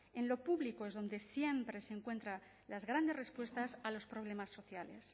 en lo público es donde siempre se encuentran las grandes respuestas a los problemas sociales